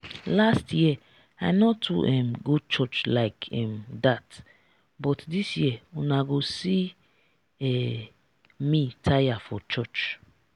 last year i no too um go church like um dat but dis year una go see um me tire for church